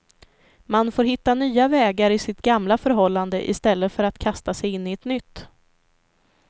Man får hitta nya vägar i sitt gamla förhållande istället för att kasta sig in i ett nytt.